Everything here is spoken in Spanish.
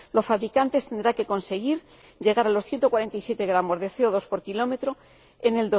Los fabricantes tendrán que conseguir llegar a los 147 gramos de CO 2 por kilómetro en